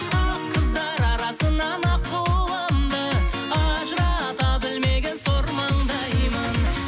ақ қыздар арасынан аққуымды ажырата білмеген сор маңдаймын